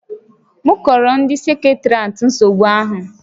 M kọọrọ ndị seketeriatị nsogbu ahụ